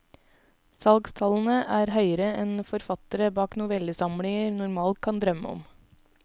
Salgstallene er høyere enn forfattere bak novellesamlinger normalt kan drømme om.